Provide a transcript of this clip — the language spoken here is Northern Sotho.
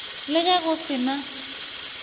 le ge go se na